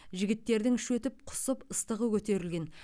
жігіттердің іші өтіп құсып ыстығы көтерілген